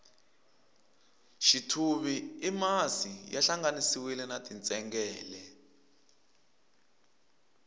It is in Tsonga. xithuvi i masi ya hlanganisiwile na tintsengele